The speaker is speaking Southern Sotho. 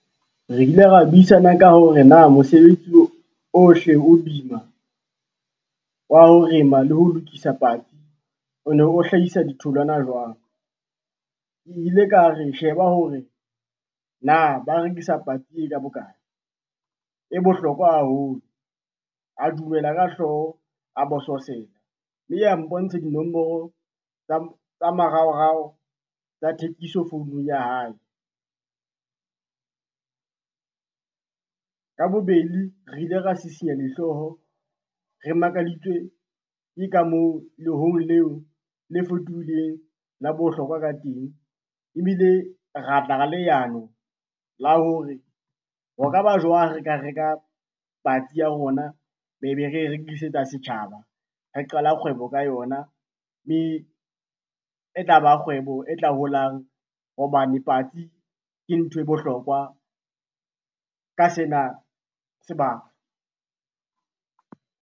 Re ile ra buisana ka hore na mosebetsi o ohle o boima, wa ho rema le ho lokisa patsi o ne o hlahisa ditholwana jwang. Ke ile ka re sheba hore na ba rekisa patsi ee ka bokae e bohlokwa haholo, a dumela ka hlooho, a bososela mme a mpontsha dinomoro tsa maraorao tsa thekiso founung ya hae. Ka bobedi re ile ra sisinya dihlooho re makaditswe ke ka moo le leo le fetohileng la bohlokwa ka teng, ebile ra tla ka leano la hore, ho ka ba jwang re ka reka patsi ya rona, be be re rekisetsa setjhaba, re qala kgwebo ka yona, mme e tlaba kgwebo e tla holang hobane patsi ke nthwe bohlokwa ka sena sebaka.